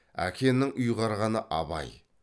әкенің ұйғарғаны абай